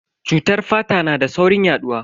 Cutar fata na da saurin yaduwa.